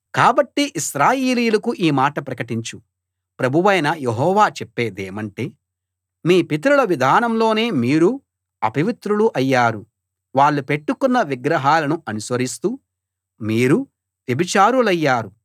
కాబట్టి ఇశ్రాయేలీయులకు ఈ మాట ప్రకటించు ప్రభువైన యెహోవా చెప్పేదేమంటే మీ పితరుల విధానంలోనే మీరూ అపవిత్రులు అయ్యారు వాళ్ళు పెట్టుకున్న విగ్రహాలను అనుసరిస్తూ మీరూ వ్యభిచారులయ్యారు